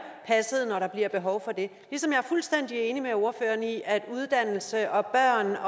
passet når der bliver behov for det ligesom jeg er fuldstændig enig med ordføreren i at uddannelse og børn